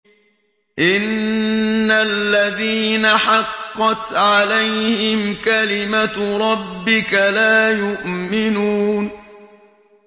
إِنَّ الَّذِينَ حَقَّتْ عَلَيْهِمْ كَلِمَتُ رَبِّكَ لَا يُؤْمِنُونَ